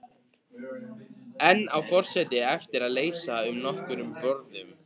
Enn á forseti eftir að heilsa á nokkrum borðum.